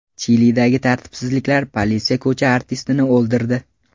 Chilidagi tartibsizliklar: politsiya ko‘cha artistini o‘ldirdi.